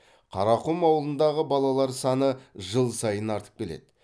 қарақұм ауылындағы балалар саны жыл сайын артып келеді